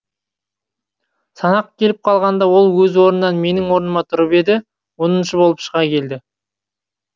санақ келіп қалғанда ол өз орнынан менің орныма тұрып еді оныншы боп шыға келді